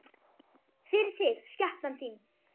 FYRIR ÞIG, SKEPNAN ÞÍN!